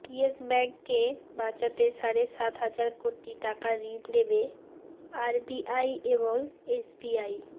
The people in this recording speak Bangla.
ইয়েস ব্যাঙ্ককে বাঁচাতে সাড়ে সাত হাজার কোটি টাকা ঋণ দেবে আরবিআই এবং এসবিআই